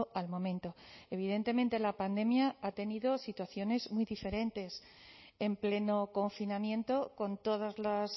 al momento evidentemente la pandemia ha tenido situaciones muy diferentes en pleno confinamiento con todas las